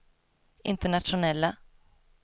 internationella